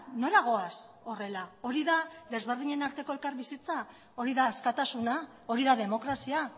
nora goaz horrela hori da desberdinen arteko elkarbizitza hori da askatasuna hori da demokrazia